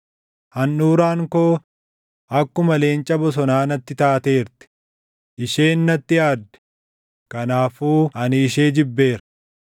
Handhuuraan koo akkuma leenca bosonaa natti taateerti. Isheen natti aadde; kanaafuu ani ishee jibbeera.